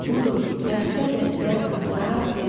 Budur dəstə-dəstə qızlar, gəlinlər.